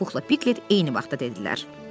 Puxla Piklet eyni vaxtda dedilər.